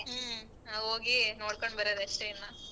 ಹ್ಮ ನಾವ್ ಹೋಗಿ ನೋಡ್ಕೊಂಡ್ ಬರದಷ್ಟೇ ಇನ್ನ.